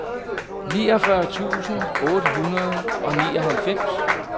niogfyrre tusind otte hundrede og nioghalvfems